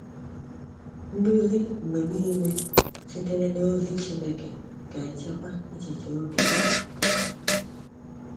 Nduzi mgbe niile sitere n’Ozi Chineke ga-echekwaba echiche obi gị.